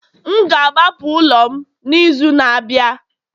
M ga-agbapụ ụlọ m n'izu na-abịa